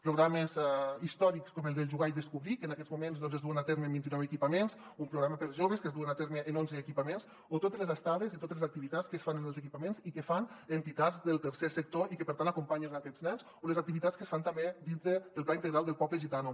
programes històrics com el de jugar i descobrir que en aquests moments doncs es duen a terme en vint i nou equipaments un programa per a joves que es du a terme en onze equipaments o totes les estades i totes les activitats que es fan en els equipaments i que fan entitats del tercer sector i que per tant acompanyen aquests nens o les activitats que es fan també dintre del pla integral del poble gitano